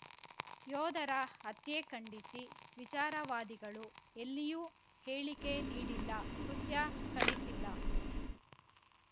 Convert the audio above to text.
ಯೋಧರ ಹತ್ಯೆ ಖಂಡಿಸಿ ವಿಚಾರವಾದಿಗಳು ಎಲ್ಲಿಯೂ ಹೇಳಿಕೆ ನೀಡಿಲ್ಲ ಕೃತ್ಯ ಖಂಡಿಸಿಲ್ಲ